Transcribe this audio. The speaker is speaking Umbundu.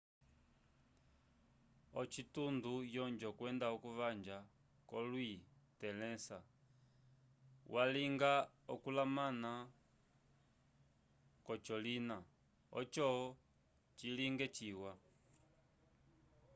ocitundo yonjo kwenda okuvanja ko lui tnle sa walinga okulamana ko colina oco cilinge ciwa